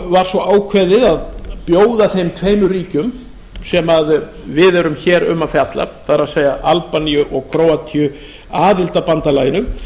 var svo ákveðið að bjóða þeim tveimur ríkjum sem við erum hér um að fjalla það er albaníu og króatíu aðild að bandalaginu